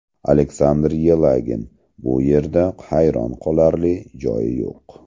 Aleksandr Yelagin: Bu yerda hayron qolarli joyi yo‘q.